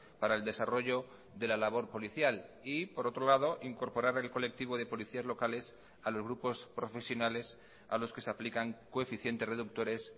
para el desarrollo de la labor policial y por otro lado incorporar el colectivo de policías locales a los grupos profesionales a los que se aplican coeficientes reductores